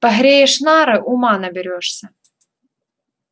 погреешь нары ума наберёшься